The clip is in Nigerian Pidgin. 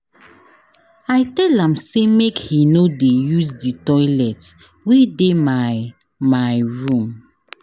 I tell am sey make he no dey use di toilet wey dey my my room.